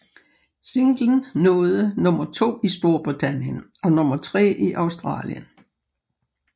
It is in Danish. Singlen nåede nummer to i Storbritannien og nummer tre i Australien